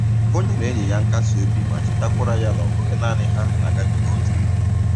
O nyere enyi ya nkasi obi ma chetakwara ya na ọ bụghị naanị ha na-agabiga otu ihe